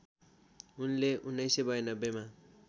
उनले १९९२ मा